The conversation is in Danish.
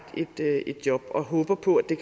et job og håber på at det